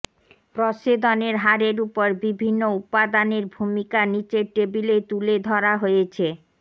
প্রস্বেদনের হারের উপর বিভিন্ন উপাদানের ভূমিকা নিচের টেবিলে তুলে ধরা হয়েছেঃ